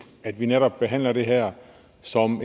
at vi netop behandler det her som